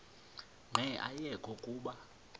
nqe ayekho kuba